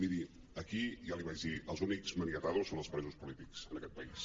miri aquí ja l’hi vaig dir els únics maniatados són els presos polítics en aquest país